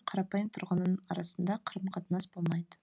қарапайым тұрғынның арасында қарым қатынас болмайды